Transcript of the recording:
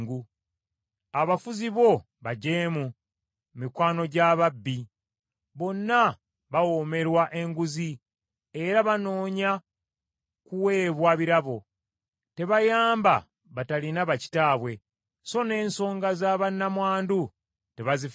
Abafuzi bo bajeemu, mikwano gya babbi, bonna bawoomerwa enguzi, era banoonya kuweebwa birabo; tebayamba batalina ba kitaabwe, so n’ensonga za bannamwandu tebazifaako.